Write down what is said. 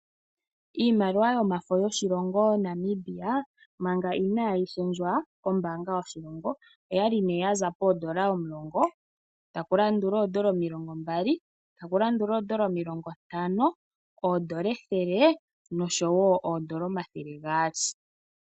Iimaliwa yomafo yoshilongo Namibia manga inaayi shendjwa kombaanga yoshilongo, oyali nee ya za poodola omulongo, taku landula oodola omilongo mbali taku landula oodola omilongo ntano, oodola ethele noshowo oodola omathele gaali.